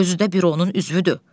Özü də büronun üzvüdür.